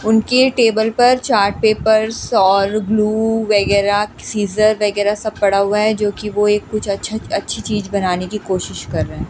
उनके टेबल पर chart papers और ग्लू वगैरह सीजर वगैरह सब पड़ा हुआ है जो कि वो एक कुछ अच्छा अच्छी चीज बनाने की कोशिश कर रहे हैं।